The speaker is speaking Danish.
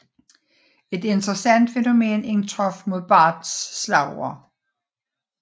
Et interessant fænomen indtraf med Barts slagord